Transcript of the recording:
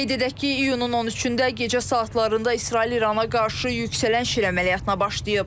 Qeyd edək ki, iyunun 13-də gecə saatlarında İsrail İrana qarşı yüksələn şir əməliyyatına başlayıb.